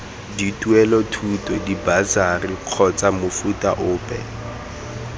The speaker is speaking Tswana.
dituelelothuto dibasari kgotsa mofuta ope